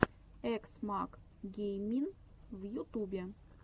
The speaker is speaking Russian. экс мак геймин в ютубе